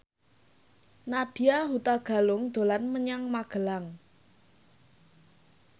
Nadya Hutagalung dolan menyang Magelang